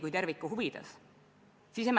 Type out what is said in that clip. Kuidas sa tervikuna seda hindad?